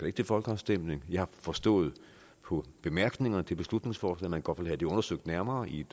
ikke til folkeafstemning jeg har forstået på bemærkningerne til beslutningsforslaget at man godt vil have det undersøgt nærmere i et